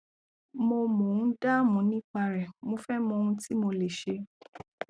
mo mo ń dáàmú nípa rẹ mo fẹ mọ ohun tí mo lè ṣe